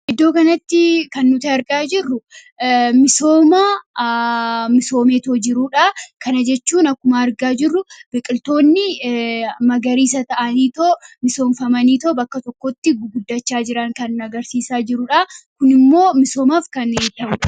iddoo ganatti kan nuta argaa jirru misoomeetoo jiruudha kana jechuun akkuma argaa jirru biqiltoonni magariisa ta'aniitoo misoonfamanii too bakka tokkotti guguddachaa jiran kan agarsiisaa jiruudha kun immoo misoomaaf kan ta'u